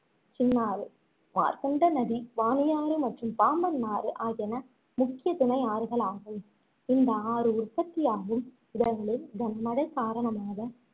சின்னாறு மார்க்ண்ட நிடி வாணியாறு மற்றும் பாம்பன் ஆறு ஆகியன முக்கிய துணை ஆறுகளாகும் இந்த ஆறு உற்பத்தியாகும் இடங்களில் கனமழை காரணமாக